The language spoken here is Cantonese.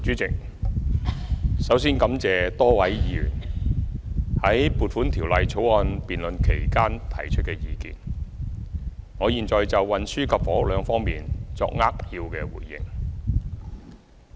主席，首先感謝多位議員在《撥款條例草案》辯論期間提出意見，我現就運輸及房屋兩方面作扼要回應。